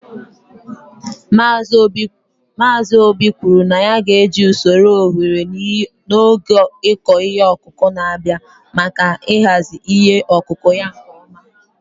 Mazị obi kwuru na ya ga-eji usoro oghere n'oge ịkọ ihe ọkụkụ na-abịa, maka ịhazi ihe ọkụkụ ya nke ọma.